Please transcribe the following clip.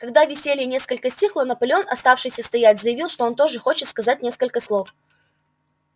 когда веселье несколько стихло наполеон оставшийся стоять заявил что он тоже хочет сказать несколько слов